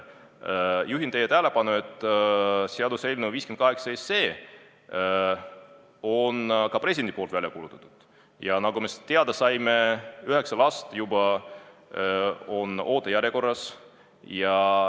Juhin teie tähelepanu ka sellele, et president on seaduse, mille eelnõu kandis numbrit 58, välja kuulutanud ja nagu me teada saime, üheksa last juba on ootejärjekorras.